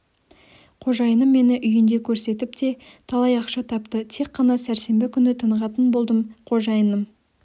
қожайыным мені үйінде көрсетіп те талай ақша тапты тек қана сәрсенбі күні тынығатын болдым қожайыным